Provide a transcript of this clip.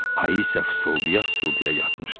Ayı isə fısıldaya-fısıldaya yatmışdı.